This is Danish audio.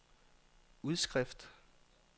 udskrift